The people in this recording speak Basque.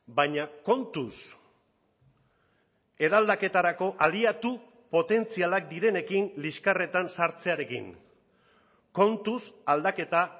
baina kontuz eraldaketarako aliatu potentzialak direnekin liskarretan sartzearekin kontuz aldaketa